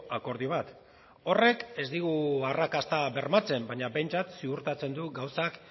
akordio bat horrek ez digu arrakasta bermatzen baina behintzat ziurtatzen du gauzak